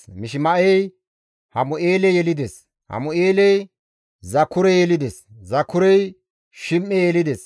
Mishima7ey Hamu7eele yelides; Hamu7eeley Zakure yelides; Zakurey Shim7e yelides;